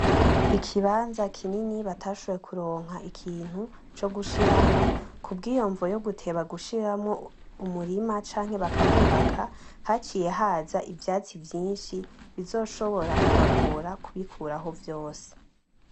Ikibaza kinini batashoboye kuronka ikintu cogushiramwo kubwiyo mvo guteba gushiramwo umurima canke bakahubaka haciye haza ivyatsi vyinshi bizoshobora kubagora kubikuraho vyose.